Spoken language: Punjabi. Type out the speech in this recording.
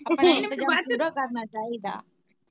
ਕਰਨਾ ਚਾਹੀਦਾ।